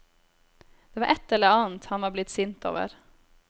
Det var ett eller annet han var blitt sint over.